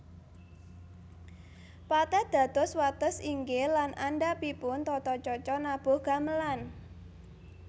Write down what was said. Pathet dados wates inggil lan andhapipun tata caca nabuh gamelan